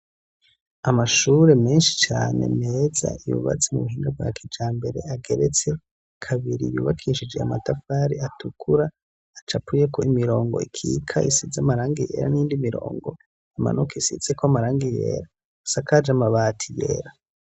Amashure menshi cane meza yubatse m'ubuhinga bwa kijambere ageretse kabiri yubakishije amatafari atukura acapuyeko imirongo ikika isize amarangi yera n'iyindi mirongo imanuka isizeko amarangi yera asakaje amabati yera.